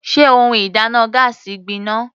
Sé ohun ìdáná gáásì náà gbin ná?